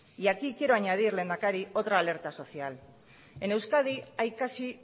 y aquí quiero añadir lehendakari otra alerta social en euskadi hay casi